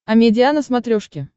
амедиа на смотрешке